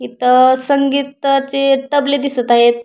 इथ संगीताचे तबले दिसत आहेत.